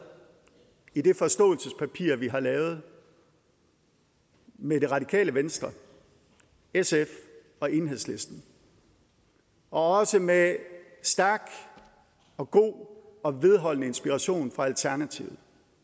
i det forståelsespapir vi har lavet med det radikale venstre sf og enhedslisten og også med stærk og god og vedholdende inspiration fra alternativet